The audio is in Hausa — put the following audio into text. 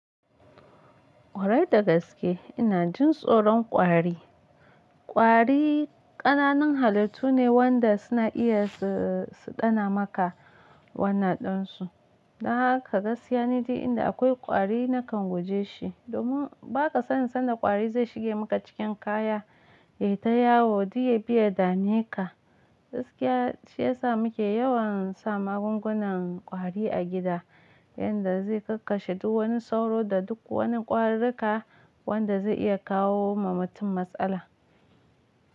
Kwarai da gaske ina jin tsoron kwari. Kwari ƙananan halittu ne wanda suna iya su, su dana maka wannan ɗinsu. Dan haka gaskiya ni duk inda akwai kwari nakan guje shi. Domin baka sanin sanda kwari zai shige maka cikin kaya, ya yi ta yawo, duk ya bi ya dame ka. Gaskiya shi ya sa muke yawan sa magungunan kwari a gida, inda zai kakkashe duk wani sauro da duk wani ƙwarika wanda zai iya kawo ma mutum matsala.